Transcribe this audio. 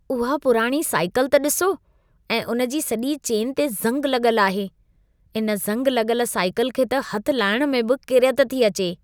उहा पुराणी साइकिलु त ॾिसो ऐं उनजी सॼी चेन ते ज़ंगु लॻल आहे। इन ज़ंग लॻल साइकिलु खे त हथ लाहिण में बि किरियत थी अचे।